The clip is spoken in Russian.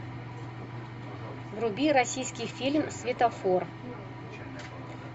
вруби российский фильм светофор